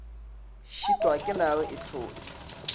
šitwa ke nare e hlotša